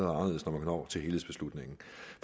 når til helhedsbeslutningen